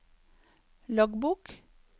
loggbok